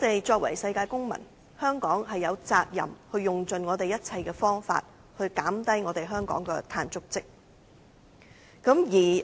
作為世界公民，香港有責任用盡一切方法減少香港的碳足跡。